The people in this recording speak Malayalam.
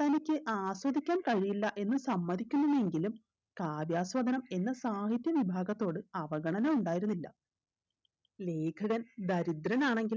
തനിക്ക് ആസ്വദിക്കാൻ കഴിയില്ല എന്ന് സമ്മതിക്കുമെങ്കിലും കാര്യാസ്വാദനം എന്ന സാഹിത്യ വിഭാഗത്തോട് അവഗണന ഉണ്ടായിരുന്നില്ല ലേഖകൻ ദരിദ്രനാണെങ്കിൽ